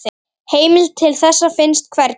Heimild til þessa finnst hvergi.